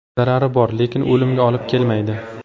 Zarari bor, lekin o‘limga olib kelmaydi.